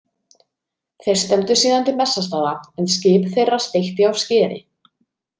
Þeir stefndu síðan til Bessastaða en skip þeirra steytti á skeri.